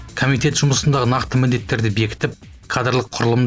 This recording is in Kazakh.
комитет жұмысындағы нақты міндеттерді бекітіп кадрлық құрылым